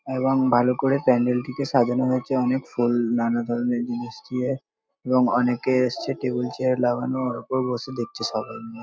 এবং ভালো করে প্যান্ডেল -টিকে সাজানো হয়েছে অনেক ধরনের ফুল নানা ধরনের জিনিস দিয়ে এবং অনেকে এসেছে টেবিল চেয়ার লাগানো ওর ওপর বসে দেখছে সবাই ।